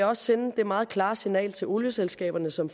også sende det meget klare signal til olieselskaberne som